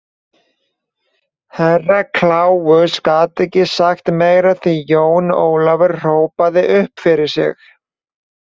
Herra Kláus gat ekki sagt meira því Jón Ólafur hrópaði upp yfir sig.